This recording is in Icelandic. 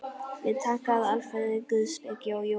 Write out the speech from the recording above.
Við taka alfarið guðspeki og jóga.